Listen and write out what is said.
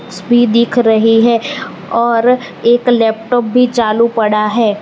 SP दिख रही है और एक लैपटॉप भी चालू पड़ा है।